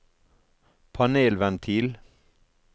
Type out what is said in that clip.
panelventil